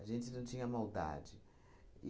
A gente não tinha maldade.